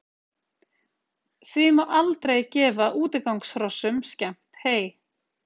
Því má aldrei gefa útigangshrossum skemmt hey.